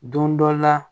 Don dɔ la